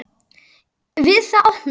Við það opnaði